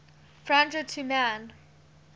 franjo tu man